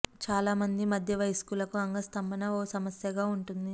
చాలా మంది మధ్య వయస్కులకు అంగ స్థంభన ఓ సమస్యగా ఉంటుంది